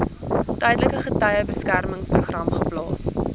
tydelike getuiebeskermingsprogram geplaas